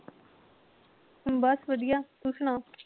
ਬੱਸ ਵਧੀਆ ਤੂੰ ਸੁਣਾ